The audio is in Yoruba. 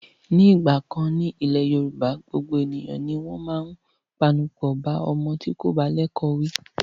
Nígbà kan rí ní ilẹ̀ Yorùbá, gbogbo ènìyàn ni wọ́n máa ń pẹnupọ̀ bá ọmọ tí kò bá lẹ́kọ̀ọ́ wí.